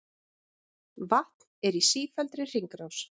Vatn er í sífelldri hringrás.